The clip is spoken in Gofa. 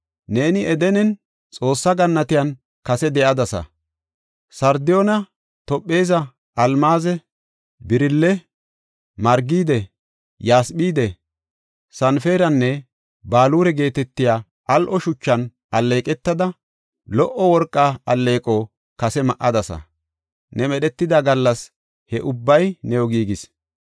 Neeni Edenen, Xoossa gannatiyan kase de7adasa; sardiyoone, toophaze, almaaze, birille, margide, yasphide, sanparenne baluure geetetiya al7o shuchan alleeqetada, lo77o worqa alleeqo kase ma7adasa; ne medhetida gallas he ubbay new giigis.